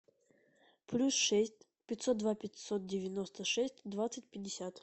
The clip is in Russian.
плюс шесть пятьсот два пятьсот девяносто шесть двадцать пятьдесят